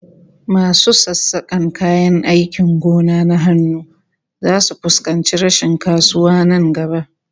Masu sassakan kayan aikin gona na hannu zasu fuskanci rashin kasuwa nan gaba